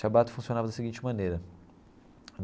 Shabbat funcionava da seguinte maneira.